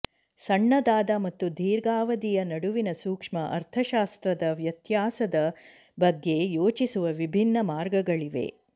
ಸಣ್ಣದಾದ ಮತ್ತು ದೀರ್ಘಾವಧಿಯ ನಡುವಿನ ಸೂಕ್ಷ್ಮ ಅರ್ಥಶಾಸ್ತ್ರದ ವ್ಯತ್ಯಾಸದ ಬಗ್ಗೆ ಯೋಚಿಸುವ ವಿಭಿನ್ನ ಮಾರ್ಗಗಳಿವೆ